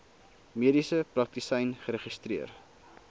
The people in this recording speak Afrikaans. mediese praktisyn geregistreer